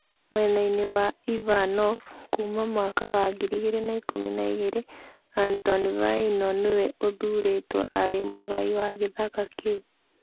Mwena-inĩ wa Ivanov kuuma mwaka wa 2012, Anton Vaino, nĩwe ũthuurĩtwo arĩ mũgai wa gĩthaka kĩu.